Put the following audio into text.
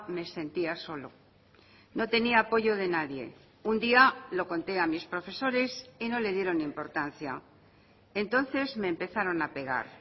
me sentía solo no tenía apoyo de nadie un día lo conté a mis profesores y no le dieron importancia entonces me empezaron a pegar